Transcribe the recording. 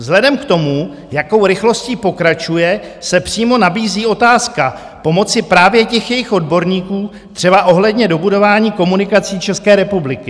Vzhledem k tomu, jakou rychlostí pokračuje, se přímo nabízí otázka pomoci právě těch jejich odborníků, třeba ohledně dobudování komunikací České republiky.